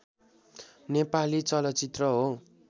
नेपाली चलचित्र हो